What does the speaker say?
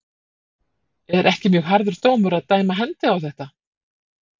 Er ekki mjög harður dómur að dæma hendi á þetta?